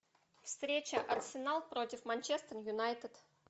встреча арсенал против манчестер юнайтед